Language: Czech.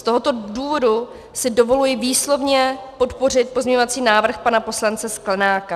Z tohoto důvodu si dovoluji výslovně podpořit pozměňovací návrh pana poslance Sklenáka.